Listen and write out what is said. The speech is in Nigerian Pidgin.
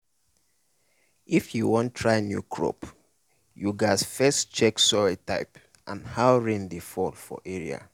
if you wan try new crop you gats first check soil type and how rain dey fall for area.